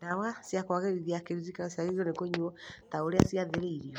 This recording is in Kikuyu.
Ndawa cia kwagĩrithia kĩririkano ciagĩrĩirwo nĩ kũnyuo ta ũrĩa ciathĩrĩirwo